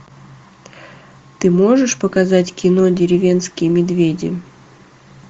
ты можешь показать кино деревенские медведи